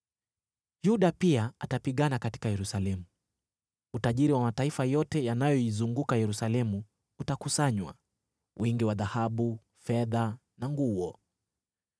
Yuda pia atapigana katika Yerusalemu. Utajiri wa mataifa yote yanayoizunguka Yerusalemu utakusanywa, wingi wa dhahabu, fedha na nguo.